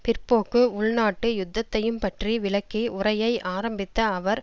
பிற்போக்கு உள்நாட்டு யுத்தத்தையும் பற்றி விளக்கி உரையை ஆரம்பித்த அவர்